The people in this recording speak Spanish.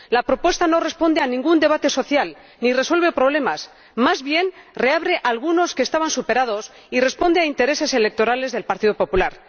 La propuesta no responde a ningún debate social, ni resuelve problemas más bien reabre algunos que estaban superados y responde a intereses electorales del Partido Popular.